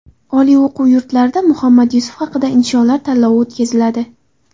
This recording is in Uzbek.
Oliy o‘quv yurtlarida Muhammad Yusuf haqida insholar tanlovi o‘tkaziladi.